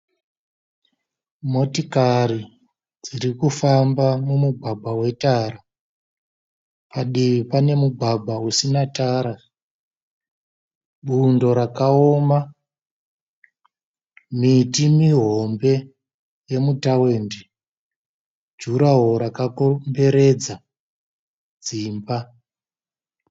Motikari dzirikufamba mumugwagwa wetara. Padivi pane mugwagwa usina tara. Bundo rakaoma. Miti mihombe yemu tawindi. Jura woro rakakomberedza dzimba.